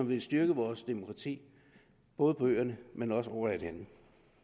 vil styrke vores demokrati både på øerne